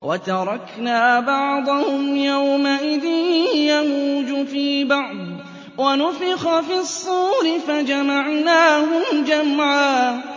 ۞ وَتَرَكْنَا بَعْضَهُمْ يَوْمَئِذٍ يَمُوجُ فِي بَعْضٍ ۖ وَنُفِخَ فِي الصُّورِ فَجَمَعْنَاهُمْ جَمْعًا